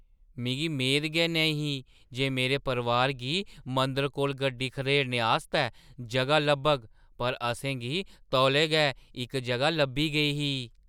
मिगी मेद गै नईं ही जे मेरे परोआरै गी मंदरै कोल गड्डी खढेरने आस्तै जʼगा लब्भग पर असें गी तोलै गै इक जʼगा लब्भी गेई ही।